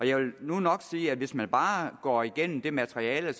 jeg vil nu nok sige at hvis man bare går igennem det materiale